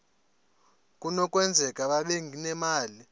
kunokwenzeka babe nemali